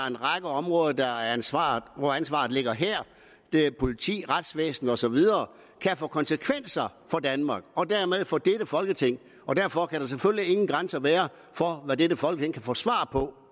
en række områder hvor ansvaret ligger her politi retsvæsen og så videre kan få konsekvenser for danmark og dermed for dette folketing og derfor kan der selvfølgelig ingen grænser være for hvad dette folketing kan få svar på